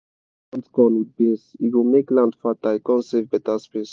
wen you plant corn with beans e go make land fertile con save beta space.